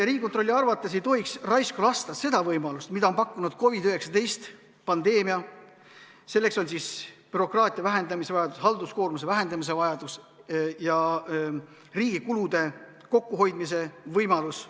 Riigikontrolli arvates ei tohiks raisku lasta seda võimalust, mida on pakkunud COVID-19 pandeemia, selleks on bürokraatia vähendamise vajadus, halduskoormuse vähendamise vajadus ja riigi kulude kokkuhoidmise võimalus.